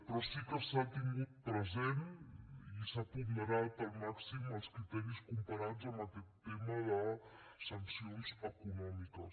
però sí que s’han tingut present i s’han ponderat al màxim els criteris comparats amb aquest tema de sancions econòmiques